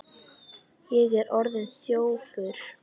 Ég er orðinn þjófur.